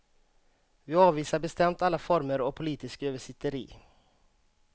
Vi avvisar bestämt alla former av politiskt översitteri.